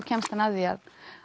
kemst að því